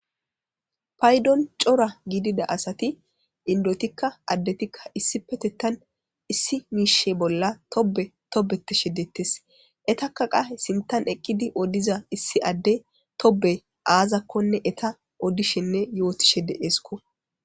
paydon cora giidida asati indotikka addetikka issi petettan issi miishe bolla tobe tobeteshe dettes etaka qahe sintan eqqidi odiza issi adde tobe aazakkonne eta oddishenne yootishe deeesko